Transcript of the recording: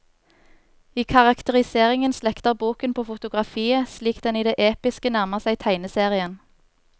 I karakteriseringen slekter boken på fotografiet, slik den i det episke nærmer seg tegneserien.